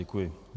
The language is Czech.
Děkuji.